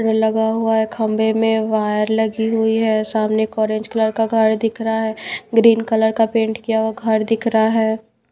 लगा हुआ है खंबे में वायर लगी हुई है सामने एक ऑरेंज कलर का घर दिख रहा है ग्रीन कलर का पेंट किया हुआ घर दिख रहा है।